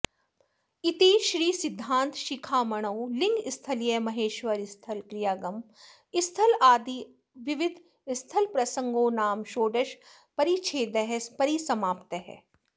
इति श्री सिद्धान्त शिखामणौ लिङ्गस्थलीय महेश्वरस्थल क्रियागम स्थलादिनवविध स्थल प्रसङ्गोनाम षोडश परिच्छेदः परिसमाप्तः